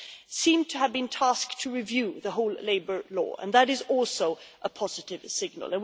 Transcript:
It seems to have been tasked to review the whole labour law and that is also a positive signal.